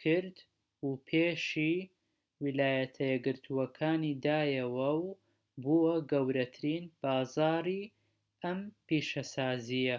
کرد و پێشی ویلایەتە یەکگرتوەکان دایەوە و بووە گەورەترین بازاری ئەم پیشەسازیە